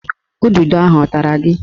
Ududo ahụ a tara gị?